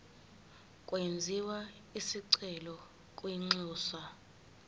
kwenziwe isicelo kwinxusa